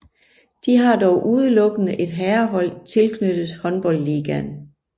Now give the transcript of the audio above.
De har dog udelukkende et herrehold tilknyttet håndboldligaen